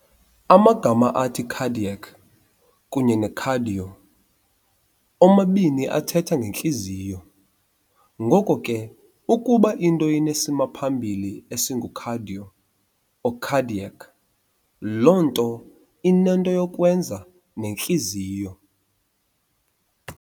Amagama athi "cardiac" kunye ne-"cardio" omabini athetha nge"ntliziyo", ngoko ke ukuba into inesimaphambili esingu-"cardio" or "cardiac", loo nto inento yokwenza nentliziyo.